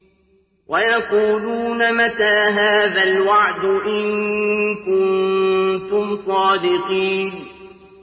وَيَقُولُونَ مَتَىٰ هَٰذَا الْوَعْدُ إِن كُنتُمْ صَادِقِينَ